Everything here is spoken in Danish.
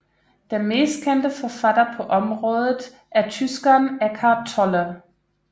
Den mest kendte forfatter på området er tyskeren Eckhart Tolle